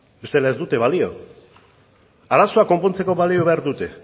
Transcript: bestela ez dute balio